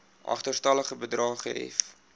agterstallige bedrae gehef